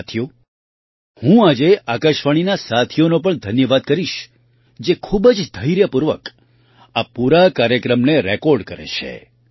સાથીઓ હું આજે આકાશવાણીના સાથીઓનો પણ ધન્યવાદ કરીશ જે ખૂબ જ ધૈર્યપૂર્વક આ પૂરા કાર્યક્રમને રેકૉર્ડ કરે છે